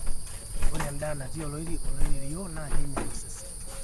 ore endaa natii oleirerio naa keinyial osesen